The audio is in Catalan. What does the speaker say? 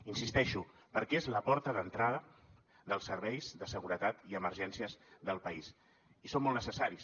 hi insisteixo perquè és la porta d’entrada dels serveis de seguretat i emergències del país i són molt necessaris